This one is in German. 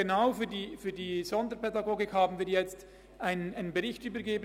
Genau für die Sonderpädagogik haben wir jetzt einen Bericht übergeben.